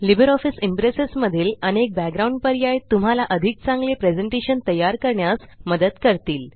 Libre office Impress मध्ये अनेक background पर्याय आहेतजे तुम्हाला अधिक चांगले प्रेज़ेंटेशन तयार करण्यास मदत करते